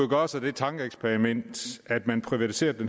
gøre sig det tankeeksperiment at man privatiserede